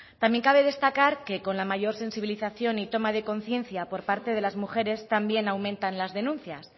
también cabe destacar que con la mayor sensibilización y toma de conciencia por parte de las mujeres también aumentan las denuncias